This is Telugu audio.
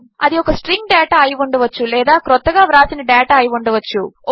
అది ఒక స్ట్రింగ్ డేటా అయి ఉండవచ్చు లేదా క్రొత్తగా వ్రాసిన డేటా అయి ఉండవచ్చు